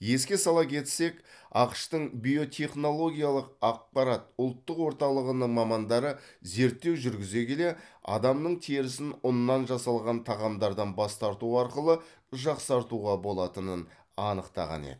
еске сала кетсек ақш тың биотехнологиялық ақпарат ұлттық орталығының мамандары зерттеу жүргізе келе адамның терісін ұннан жасалған тағамдардан бас тарту арқылы жақсартуға болатынын анықтаған еді